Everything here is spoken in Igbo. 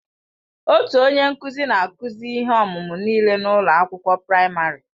Otu onye nkụzi na-akụzi ihe ọmụmụ nịle n'ụlọ akwụkwọ praịmarị.